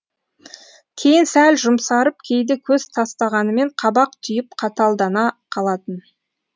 кейін сәл жұмсарып кейде көз тастағанымен қабақ түйіп қаталдана қалатын